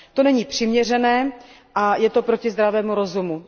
To není přiměřené a je to proti zdravému rozumu.